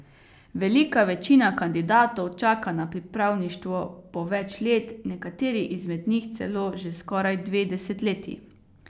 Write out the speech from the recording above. Velika večina kandidatov čaka na pripravništvo po več let, nekateri izmed njih celo že skoraj dve desetletji.